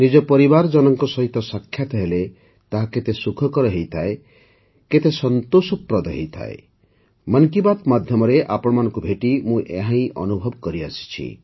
ନିଜ ପରିବାରଜନଙ୍କ ସହିତ ସାକ୍ଷାତ ହେଲେ ତାହା କେତେ ସୁଖକର ହୋଇଥାଏ କେତେ ସନ୍ତୋଷପ୍ରଦ ହୋଇଥାଏ ମନ୍ କି ବାତ୍ ମାଧ୍ୟମରେ ଆପଣମାନଙ୍କୁ ଭେଟି ମୁଁ ଏହା ଅନୁଭବ କରିଆସିଛି